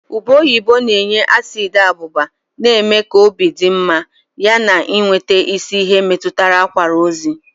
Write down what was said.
Ube oyibo na-enye asiidi abụba na-eme ka obi dị mma yana, ịnweta isi ihe metụtara akwara ozi.